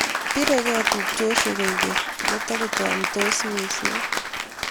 biregei tupchosiek kwekeny aku tukuchamsot mising